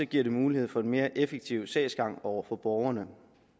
giver det mulighed for en mere effektiv sagsgang over for borgerne